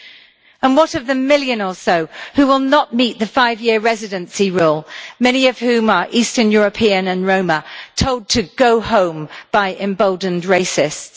And what of the million or so who will not meet the five year residency rule, many of whom are Eastern European and Roma, told to go home by emboldened racists?